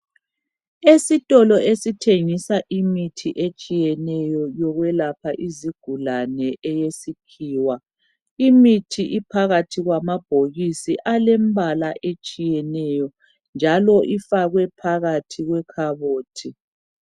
Esitolo esithengisa imithi etshiyeneyo yokwelapha izigulane eyesikhiwa imithi iphakathi kwamabhokisi alembala etshiyeneyo njalo ifakwe phakathi kwekhabothi.